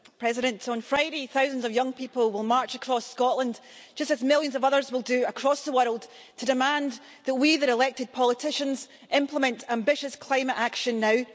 Mr President, on Friday, thousands of young people will march across Scotland, just as millions of others will do across the world, to demand that we, their elected politicians, implement ambitious climate action now.